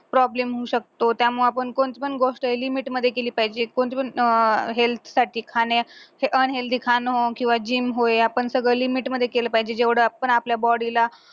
problem होऊ शकतो त्यामुळे कोणती पण गोष्ट ही limit मध्ये केली पाहिजे पाहिजे कोणती पण अह health साठी खाण्या unhealthy खान किंवा gym होय आपण सगळं limit मध्ये केलं पाहिजे आपण आपल्या body ला